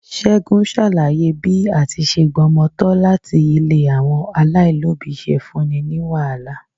Ségun ṣàlàyé bí à ti ṣe gbomo tọ láti ilé àwọn alailobi ṣe fún ní wàhálà.